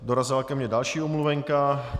Dorazila ke mě další omluvenka.